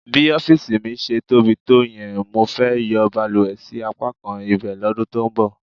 Bí ọ́fíìsì mi ṣe tóbi tó yẹn, mo fẹ́ yọ balùwẹ̀ sí apákan ibẹ̀ lọ́dún tó ń bọ̀.